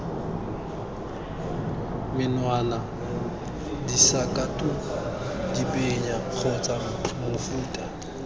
menwana disakatuku dibenya kgotsa mofuta